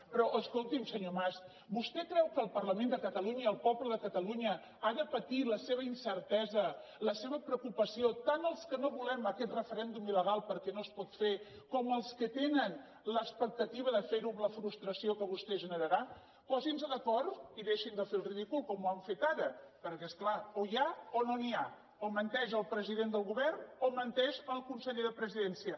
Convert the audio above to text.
però escolti’m senyor mas vostè creu que el parlament de catalunya i el poble de catalunya ha de patir la seva incertesa la seva preocupació tant els que no volem aquest referèndum il·com els que tenen l’expectativa de fer ho amb la frustració que vostès generaran posin se d’acord i deixin de fer el ridícul com ho han fet ara perquè és clar o n’hi ha o no n’hi ha o menteix el president del govern o menteix el conseller de presidència